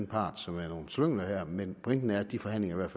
part som er nogle slyngler her men pointen er at de forhandlinger